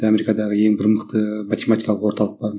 америкадағы ең бір мықты математикалық орталық бар